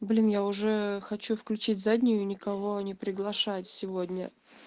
блин я уже хочу включить заднюю и никого не приглашать сегодня